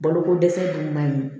Balokodɛsɛ dun man ɲi